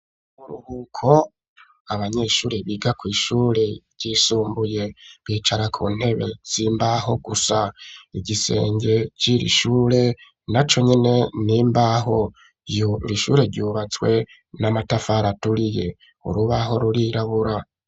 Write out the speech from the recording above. Uburuhuko abanyeshuri biga kw'ishure ryisumbuye bicara ku ntebe z'imbaho gusa igisenge ciri shure na conyene n'imbaho iri shure ryubatswe n'amatafara aturiye urubaho rurirabura.